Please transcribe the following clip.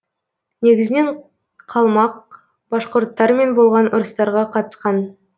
негізінен қалмак башқұрттармен болған ұрыстарға қатысқан